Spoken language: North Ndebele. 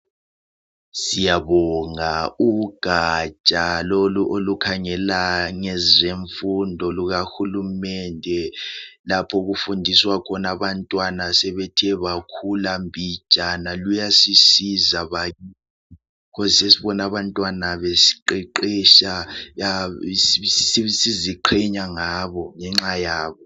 Siyabonga ugatsha olukhangela ngezemfundo lukahulumende lapho osokufundiswa khona abantwana asebethe bakhula mbijana. Luyasisiza bakithi. Yikho sesibona abantwana beqeqetsha sesiziqhenya ngabo.